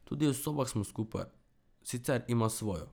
Tudi v sobah smo skupaj, sicer ima svojo.